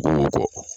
Dugukolo kɔ